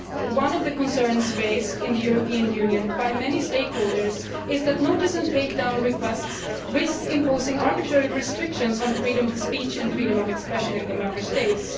One of the concerns raised in the European Union by many stakeholders is that notice and take down requests risk imposing arbitrary restrictions on freedom of speech and freedom of expression in the Member States.